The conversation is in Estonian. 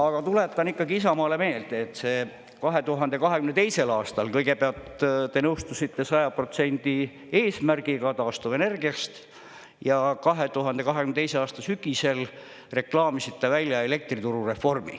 Aga tuletan ikkagi Isamaale meelde, et see 2022. aastal kõigepealt te nõustusite 100% eesmärgiga taastuvenergiast, ja 2022. aasta sügisel reklaamisite välja elektrituru reformi.